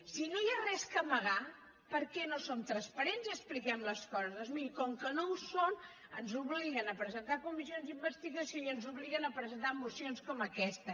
si no hi ha res a amagar per què no som transparents i expliquem les coses doncs miri com que no ho són ens obliguen a presentar comissions d’investigació i ens obliguen a presentar mocions com aquesta